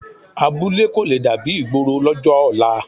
Abúlé kò le dàbí ìgboro lọ́jọ́ ọ̀la